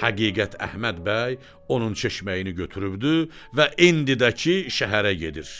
həqiqət Əhməd bəy onun çeşməyini götürübdü və indi də ki, şəhərə gedir.